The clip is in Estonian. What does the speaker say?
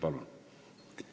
Palun!